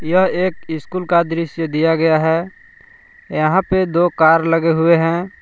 एक स्कूल का दृश्य दिया गया है यहां पे दो कार लगे हुए हैं।